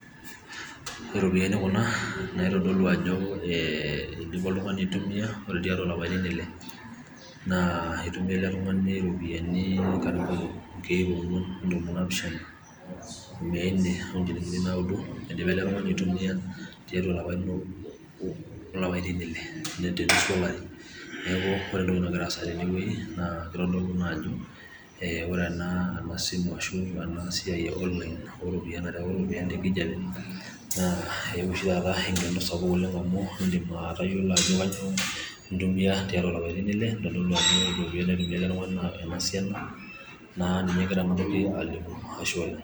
Iropiyiani Kuna naitodolu oltung'ani ajo eidipa aitumiya, ore tiatua ilapaitin Ile naa eitumiya ele Tung'ani iropiyiani inkiek ong'uan engalifuni intomoni naapisha mia nne idipa ele Tung'ani aitumiya too ilapaitin Ile te nusu olari neaku ore entoki nagira aendelea tene naa keitodolu ajo ee ore ena siai esimu arashu eonlain nairriwari iropiyiani to loing'ang'e naa eewuo oshi taata eng'eno SAPUK oleng' amu eedim atayiolo ajo kanyio entumia tiatua ilapaitin Ile keitodolu ajo ore iropiyiani naitumia ele Tung'ani naa ena siana naa ninye egira ang'amu, Ashe oleng'.